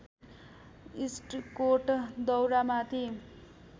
इस्टकोट दौरामाथि